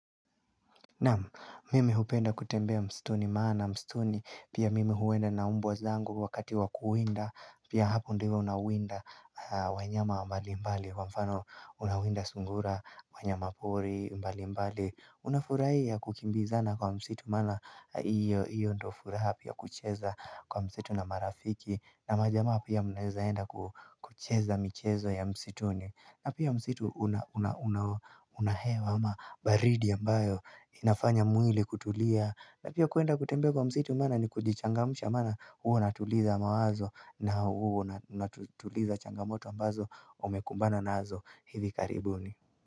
Na'am, mimi hupenda kutembea msituni maana msituni pia mimi huenda na mbwa zangu wakati wa kuwinda pia hapo ndivyo nawinda wanyama mbali mbali kwa mfano unawinda sungura, wanyama pori mbalimbali. Unafurahia kukimbizana kwa msitu maana hiyo ndio furuha pia kucheza kwa msitu na marafiki na majamaa pia mnaezaenda kucheza michezo ya msituni. Na pia msitu una una hewa, una baridi ambayo inafanya mwili kutulia. Na pia kuenda kutembea kwa msitu maana ni kujichangamsha maana hua natuliza mawazo na huu unatuliza changamoto ambazo umekumbana nazo hivi karibuni.